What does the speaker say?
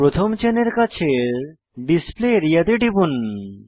প্রথম চেনের কাছের ডিসপ্লে আরিয়া তে টিপুন